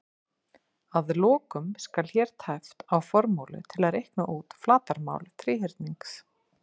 Að lokum skal hér tæpt á formúlu til að reikna út flatarmál þríhyrnings: